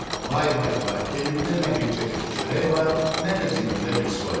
Vay vay vay, evimdə nə bircə tikə çörək var, nə də cibimdə bir soldur.